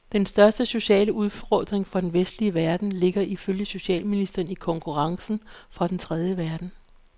Den største sociale udfordring for den vestlige verden ligger ifølge socialministeren i konkurrencen fra den tredje verden.